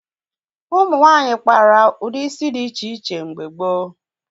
Ụmụ nwaanyị kpara ụdị isi dị iche iche mgbe gboo